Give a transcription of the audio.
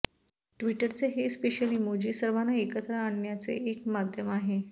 ट्विटरचे हे special emoji सर्वांना एकत्र आणण्याचे एक माध्यम आहे